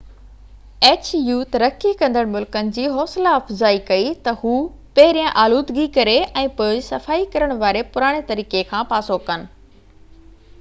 H U ترقي ڪندڙ ملڪن جي حوصلا افزائي ڪئي ته هو پهريان آلودگيءَ ڪري ۽ پوءِ سفائي ڪرڻ واري پراڻي طريقي کان پاسو ڪن